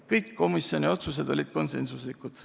Kõik komisjoni otsused olid konsensuslikud.